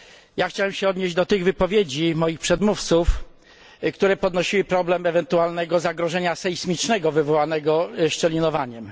Ja chciałem się odnieść do tych wypowiedzi moich przedmówców, które podnosiły problem ewentualnego zagrożenia sejsmicznego wywołanego szczelinowaniem.